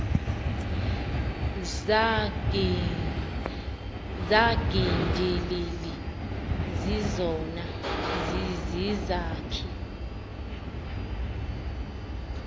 zangqindilili zizona zizizakhi